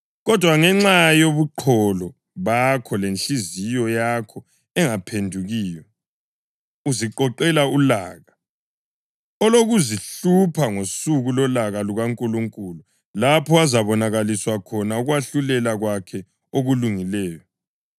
Kodwa ngenxa yobuqholo bakho lenhliziyo yakho engaphendukiyo, uziqoqela ulaka oluzakuhlupha ngosuku lolaka lukaNkulunkulu, lapho okuzabonakaliswa khona ukwahlulela kwakhe okulungileyo.